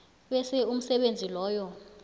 bese umsebenzi loyo